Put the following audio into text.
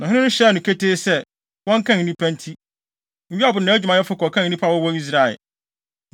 Na ɔhene no hyɛɛ no ketee sɛ, wɔnkan nnipa nti, Yoab ne nʼadwumayɛfo kɔkan nnipa a wɔwɔ Israel.